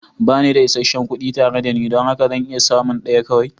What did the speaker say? Ba ni da isasshen kuɗi tare da ni don haka zan iya samun ɗaya kawai.